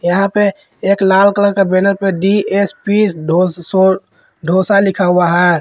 यहां पे एक लाल कलर बैनर पे डी_एस_पी धो सो धोसा लिखा हुआ है।